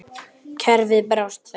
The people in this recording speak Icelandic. Kerfið brást þeim.